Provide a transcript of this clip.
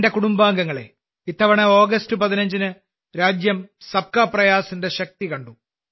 എന്റെ കുടുംബാംഗങ്ങളേ ഇത്തവണ ഓഗസ്റ്റ് 15ന് രാജ്യം സബ് കാ പ്രയാസിന്റെ ശക്തി കണ്ടു